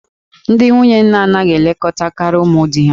Ndị nwunye nna anaghị elekọtakarị ụmụ di ha